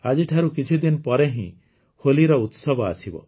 ଆଜିଠାରୁ କିଛିଦିନ ପରେ ହିଁ ହୋଲିର ଉତ୍ସବ ଆସିବ